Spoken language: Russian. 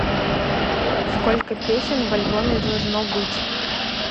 сколько песен в альбоме должно быть